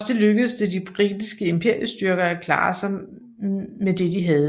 Trods det lykkedes det de britiske imperiestyrker at klare sig med det de havde